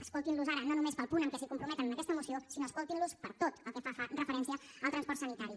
escoltin los ara no només pel punt en què s’hi comprometen en aquesta moció sinó escoltin los per tot el que fa referència al transport sanitari